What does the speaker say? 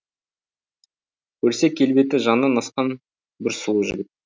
көрсе келбеті жаннан асқан бір сұлу жігіт